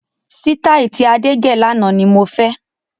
Sitai tí Adé gẹ̀ lànà ni mo fẹ́.